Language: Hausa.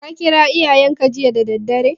Ka kira iyayenka jiya da daddare?